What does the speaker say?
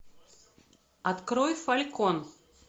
открой фалькон